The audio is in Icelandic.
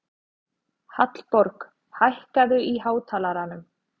Hallborg, hækkaðu í hátalaranum.